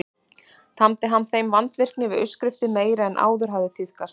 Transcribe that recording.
Tamdi hann þeim vandvirkni við uppskriftir meiri en áður hafði tíðkast.